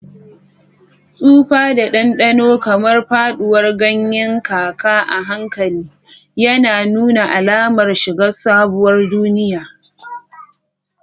Tsufa da ɗanɗano, kamar faɗuwar ganyen kaka a hankali, yana nuna alamar shiga sabuwar duniya.